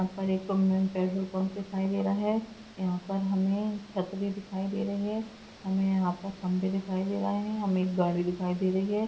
यहाँ पर एक पेट्रोल पंप दिखाई दे रहा है यहाँ पर हमे छत्री दिखाई दे रही है हमे यहाँ पर खम्बे दिखाई दे रहा है हमे एक गाड़ी दिखाई दे रही है।